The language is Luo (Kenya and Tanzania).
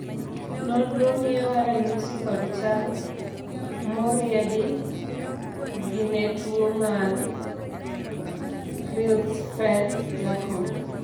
nonro miyowa ranyisi kod chal moriedi gi ne tuo mar Creutzfeldt Jakob